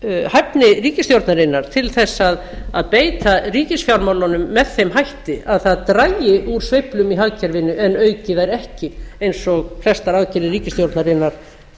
hæfni ríkisstjórnarinnar til þess að beita ríkisfjármálunum með þeim hætti að það dragi úr sveiflum í hagkerfinu en auki þær ekki eins og flestar aðgerðir ríkisstjórnarinnar